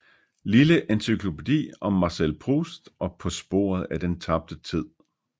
Lille encyklopædi om Marcel Proust og På sporet af den tabte tid